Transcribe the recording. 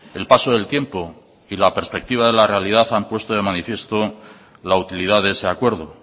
el paso del tiempo y la perspectiva de la realidad han puesto de manifiesto la utilidad de ese acuerdo